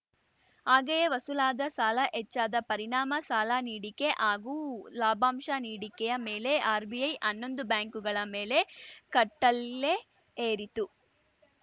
ಹಾಗೆಯೇ ವಸೂಲಾದ ಸಾಲ ಹೆಚ್ಚಾದ ಪರಿಣಾಮ ಸಾಲ ನೀಡಿಕೆ ಹಾಗೂ ಲಾಭಾಂಶ ನೀಡಿಕೆಯ ಮೇಲೆ ಆರ್‌ಬಿಐ ಹನ್ನೊಂದು ಬ್ಯಾಂಕುಗಳ ಮೇಲೆ ಕಟ್ಟಳೆ ಹೇರಿತ್ತು